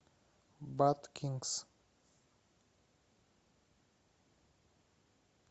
баткингс